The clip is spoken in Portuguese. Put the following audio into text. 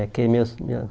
É, que meus minha